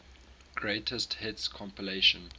greatest hits compilation